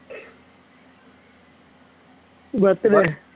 birthday